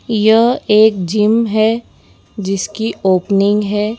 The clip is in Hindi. यह एक जिम है जिसकी ओपनिंग है।